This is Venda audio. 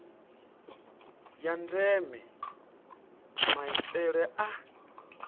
ya ndeme maitele a